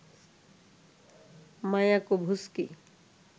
Mayakovsky